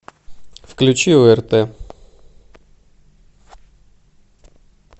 включи орт